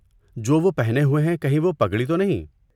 جو وہ پہنے ہوئے ہیں، کہیں وہ پگڑی تو نہیں؟